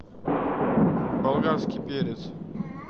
болгарский перец